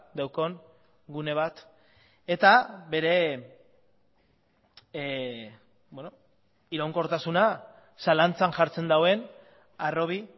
daukan gune bat eta bere iraunkortasuna zalantzan jartzen duen harrobi